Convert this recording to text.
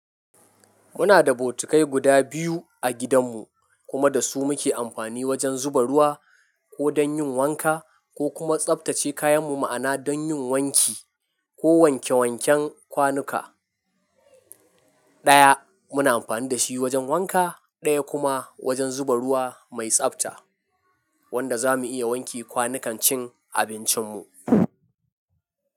Muna da botikai guda biyu a gidanmu kuma da su muke amfani wajen zuba ruwa ko dan yin wanka ko kuma tsabtace kayan mu ma'ana don yin wanki ko wanke wanken kwanuka. Ɗaya muna amfani da shi wajen wanka, ɗaya kuma wajen zuba ruwa mai tsabta wanda za mu iya wanke kwanukan cin abincin mu.